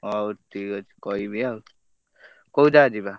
ହଉ ଠିକ ଅଛି କହିବି ଆଉ କୋଉଜାଗା ଯିବା?